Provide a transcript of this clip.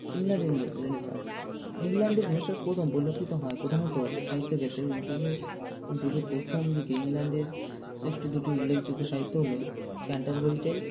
ইংল্যা~ rene Renaissance ইংল্যান্ডের Renaissance প্রথম পরিলক্ষিত হয় প্রধানত সাহিত্য ক্ষেত্রে Renaissance -এর যুগের প্রথম দিকে ইংল্যান্ডের শ্রেষ্ঠ দুটি উল্লেখযোগ্য সাহিত্য হলো Canterbury Tales